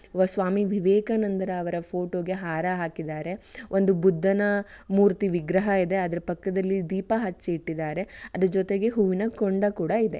ಜೊತೆಗೆ ಓ ಸ್ವಾಮಿ ವಿವೇಕಾನಂದರವರ ಫೋಟೋ ಗೆ ಹಾರಾ ಹಾಕಿದಾರೆ ಒಂದು ಬುದ್ಧನ ಮೂರ್ತಿ ವಿಗ್ರಹ ಇದೆ ಅದರ ಪಕ್ಕದಲ್ಲಿ ದೀಪ ಹಚ್ಚಿ ಇಟ್ಟಿದಾರೆ ಅದರ ಜೊತೆಗೆ ಹೂವಿನ ಕುಂಡ ಕೂಡ ಇದೆ